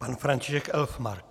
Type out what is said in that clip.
Pan František Elfmark.